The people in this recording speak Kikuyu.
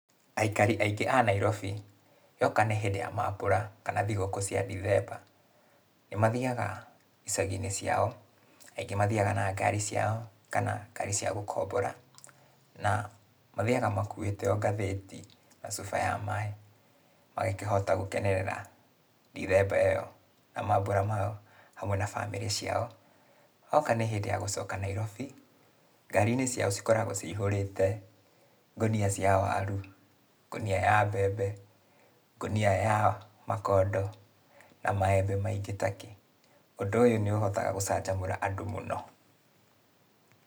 Aikari aingĩ a Nairobi, yoka nĩ hĩndĩ ya mambũra, kana thigũkũ cia Ndithemba, nĩmathiaga, icagi-inĩ ciao. Aingĩ mathiaga na ngari ciao, kana, ngari cia gũkombora. Na, mathiaga makuĩte o ngathĩti, na cuba ya maĩ, magakĩhota gũkenerera, Ndithemba ĩyo, na mambũra mao, hamwe ma bamĩrĩ ciao. Hoka nĩ hĩndĩ ya gũcoka Nairobi, ngari-inĩ ciao cikoragwo cihũrĩte, ngũnia cia waru, ngũnia ya mbembe, ngũnia ya makondo, na maembe maingĩ takĩ. Ũndũ ũyũ nĩũhotaga gũcanjamũra andũ mũno.